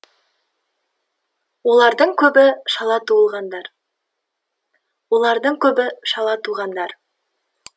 олардың көбі шала туылғандар олардың көбі шала туғандар